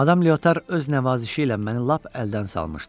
Madam Liotar öz nəvazişi ilə məni lap əldən salmışdı.